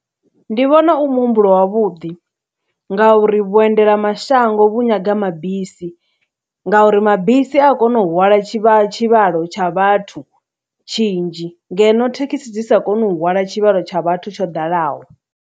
Ndi vhona u muhumbulo wavhuḓi ngauri vhuendela mashango vhu nyaga mabisi, ngauri mabisi a kona u hwala tshivha tshivhalo tsha vhathu tshinzhi ngeno thekhisi dzi sa koni u hwala tshivhalo tsha vhathu tsho ḓalaho.